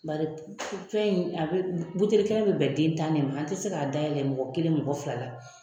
Bari fɛn in a bɛ buteli kelen bɛ bɛn den tan de ma an tɛ se k'a dayɛlɛn mɔgɔ kelen mɔgɔ fila la